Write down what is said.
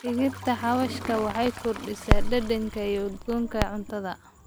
Dhirta xawaashka waxay kordhisaa dhadhanka iyo udgoonka cuntada.